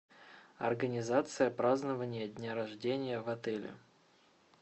организация празднования дня рождения в отеле